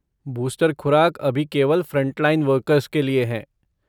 Booster खुराक अभी केवल फ़्रंटलाइन वर्कर्स के लिए है।